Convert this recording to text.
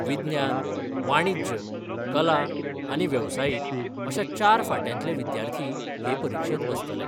विज्ञान, वाणिज्य, कला आनी वेवसायीक अशा चार फांट्यांतले विद्यार्थी हे परिक्षेत बसतले.